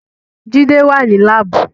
Jide wà ní Láàbù